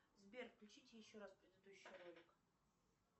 сбер включите еще раз предыдущий ролик